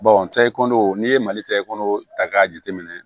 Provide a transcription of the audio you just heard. cɛ i kɔnɔ n'i ye mali ta i kɔnɔ ta k'a jateminɛ